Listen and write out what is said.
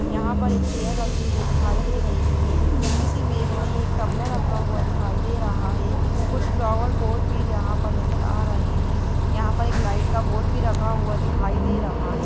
यहां पर एक चेयर रखी हुई दिखाई दे रही है इस इमेज में एक तबला रखा हुआ दिखाई दे रहा है कुछ फ्लावर पॉट भी यहां पर नजर आ रहे हैं यहां पर एक लाइट का बोर्ड भी रखा हुआ दिखाई दे रहा है।